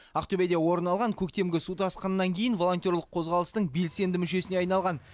ақтөбеде орын алған көктемгі су тасқынынан кейін волонтерлық қозғалыстың белсенді мүшесіне айналған